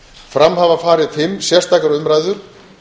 fram hafa farið fimm sérstakar umræður